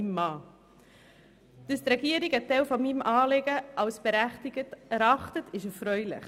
Dass die Regierung einen Teil meines Anliegens als berechtigt erachtet, ist erfreulich.